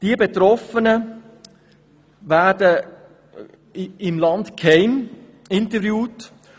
Die Betroffenen werden im Land geheim interviewt.